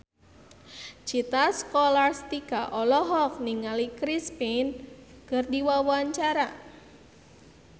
Citra Scholastika olohok ningali Chris Pane keur diwawancara